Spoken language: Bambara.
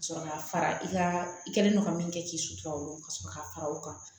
Ka sɔrɔ ka fara i ka i kɛlen don ka min kɛ k'i sutura olu ka sɔrɔ ka fara o kan